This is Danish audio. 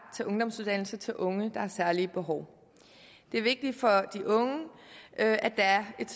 til ungdomsuddannelse til unge der har særlige behov det er vigtigt for de unge at der er et